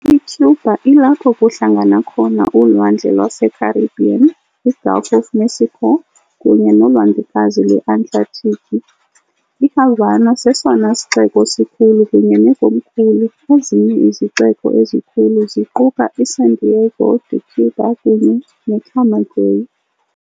ICuba ilapho kuhlangana khona uLwandle lweCaribbean, iGulf of Mexico, kunye noLwandlekazi lweAtlantiki. IHavana sesona sixeko sikhulu kunye nekomkhulu, ezinye izixeko ezikhulu ziquka iSantiago de Cuba kunye neCamagüey.